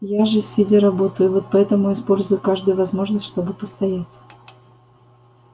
я же сидя работаю вот поэтому использую каждую возможность чтобы постоять